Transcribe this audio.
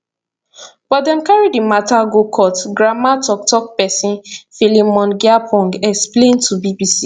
but dem carry di mata go court grnma tok tok pesin philemon gyapong explain to bbc